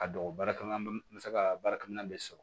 A don baarakɛ minɛn m se ka baarakɛminɛn de sɔrɔ